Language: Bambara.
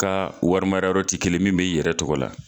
Ka wari mara yɔrɔ tɛ kelen ye min bɛ i yɛrɛ tɔgɔ la.